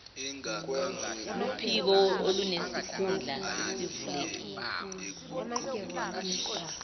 luphiko olunesikhundla esivulekile